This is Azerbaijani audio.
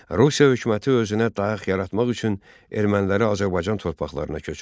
Rusiya hökuməti özünə dayaq yaratmaq üçün erməniləri Azərbaycan torpaqlarına köçürdü.